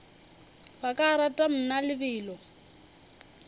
ba ka rata mna lebelo